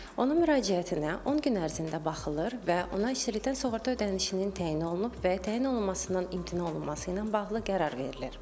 Onun müraciətinə 10 gün ərzində baxılır və ona işsizlikdən sığorta ödənişinin təyin olunub və təyin olunmasından imtina olunması ilə bağlı qərar verilir.